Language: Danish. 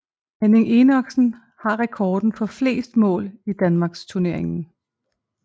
Henning Enoksen har rekorden for flest mål i Danmarksturneringen